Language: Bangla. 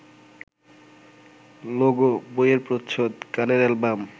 লোগো, বইয়ের প্রচ্ছদ, গানের অ্যালবাম